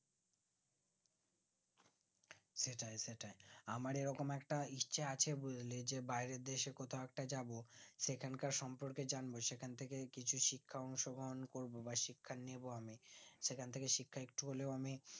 সেটাই সেটাই আমার এই রকম একটা history আছে বুজলি যে বাইরেরদেশে কোথাও একটা যাবো সেখানকার সম্পর্কে জন্য সেখানথেকে কিছু শিক্ষা অংশগ্রহণ করবো বা শিক্ষা নেবো আমি সেখান থেকে শিক্ষা একটু হলেও আমি